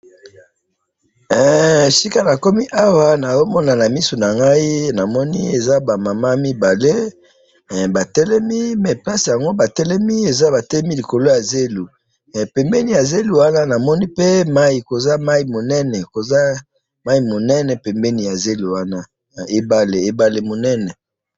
esika nakomi awa nazo mona na miso na ngai, namoni eza ba mamans mibale ba telemi mais place yango ba telemi eza ba telemi lokoli ya zelo, pembeni ya zelo wana namoni pe mayi, koza na mayi munene, koza na mayi munene pembeni ya zelo wana, ebale, ebale munene